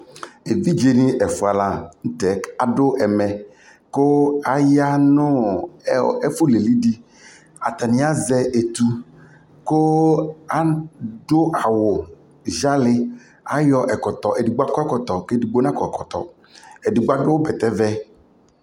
ɛvidzɛ ni ɛƒʋa lantɛ adʋ ɛmɛ kʋ ayanʋ ɛƒʋ lili di, atani azɛ ɛtʋ kʋ adʋ awʋ ziali, ayɔ ɛkɔtɔ ɛdigbɔ akɔ ɛkɔtɔ kʋ ɛdigbɔ na kɔ ɛkɔtɔ, ɛdigbɔ adʋ bɛtɛ vɛ